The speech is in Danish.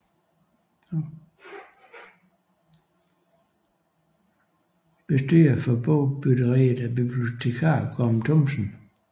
Bestyrer for bogbytteriet er bibliotekar Gorm Thomsen